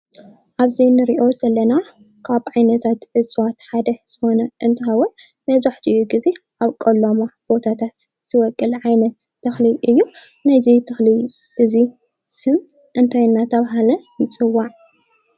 ኣብዚ እንሪኦ ዘለና ካብ ዓይነታት እፀዋት ሓደ ዝኾነ እንትኸውን መብዛሕቲኡ ግዜ ኣብ ቆላማ ቦታታት ዝበቁል ዓይነት ተኽሊ እዩ። ናይዚ ዓይነት ዚ ተኽሊ እዙይ ስም እንታይ እናተባህለ ይፅዋዕ?